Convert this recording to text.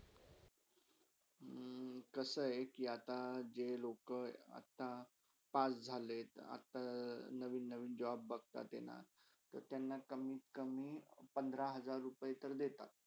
हम्म कसा आहहे कि अता जे लोक अता pass झाले अता नवीन - नवीन job बघतात ना त्यांना कमीत कमी पंधरा हजार रुपये देतात.